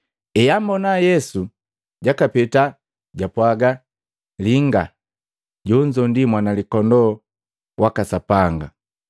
eambona Yesu jakapeta japwaga, “Linga, lende ndi Mwana Likondoo laka Sapanga!”